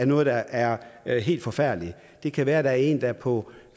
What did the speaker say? noget der er er helt forfærdeligt det kan være at der er en der er på